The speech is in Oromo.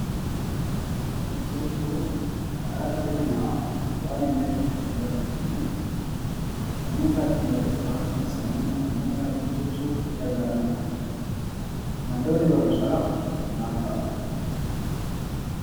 Barumsa jechuun karaa dhalli namaa waan hin beekne ittiin baratuu fi sammuu isaa ittiin bal'isuuf akkasumas immoo sammuusaa ittiin cimsuuf itti gargaaramudha. Maddoonni barumsaa maal fa'a?